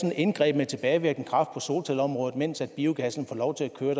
et indgreb med tilbagevirkende kraft på solcelleområdet mens biogassen får lov til at køre